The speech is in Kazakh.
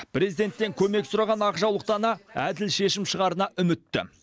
президенттен көмек сұраған ақжаулықты ана әділ шешім шығарына үмітті